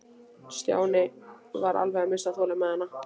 Stjáni var alveg að missa þolinmæðina.